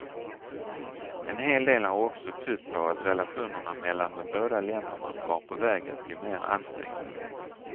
En hel del har också tytt på att relationerna mellan de båda länderna var på väg att bli mer ansträngda.